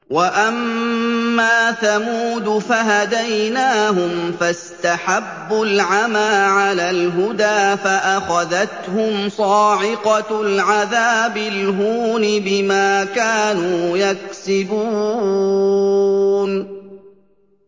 وَأَمَّا ثَمُودُ فَهَدَيْنَاهُمْ فَاسْتَحَبُّوا الْعَمَىٰ عَلَى الْهُدَىٰ فَأَخَذَتْهُمْ صَاعِقَةُ الْعَذَابِ الْهُونِ بِمَا كَانُوا يَكْسِبُونَ